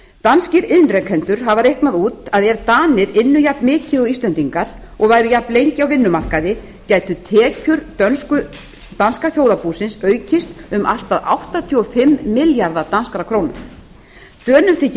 danskir iðnrekendur hafa reiknað út að ef danir ynnu jafnmikið og íslendingar og væru jafnlengi á vinnumarkaði gætu tekjur danska þjóðarbúsins aukist um allt að áttatíu og fimm milljarða d krónu dönum þykir